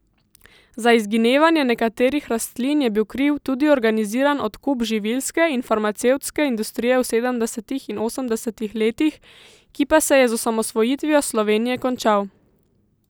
Za izginevanje nekaterih rastlin je bil kriv tudi organiziran odkup živilske in farmacevtske industrije v sedemdesetih in osemdesetih letih, ki pa se je z osamosvojitvijo Slovenije končal.